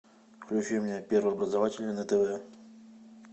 включи мне первый образовательный на тв